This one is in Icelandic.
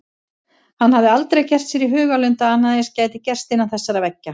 Hann hafði aldrei gert sér í hugarlund að annað eins gæti gerst innan þessara veggja.